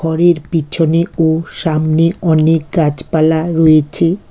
ঘরের পিছনে ও সামনে অনেক গাছপালা রয়েছে।